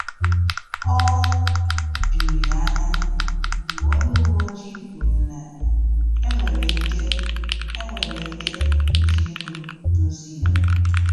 O juru ya anya mgbe onye uwe ojii kwuru na enwere ike enwere ike iji ego dozie ya